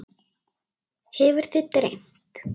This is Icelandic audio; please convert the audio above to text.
Hefur þig dreymt?